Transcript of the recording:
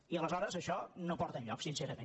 i aleshores això no porta enlloc sin·cerament